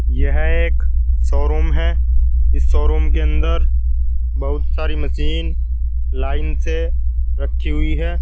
यह एक शोरूम है इस शोरूम के अंदर बहुत सारी मशीन लाइन से रखी हुई है।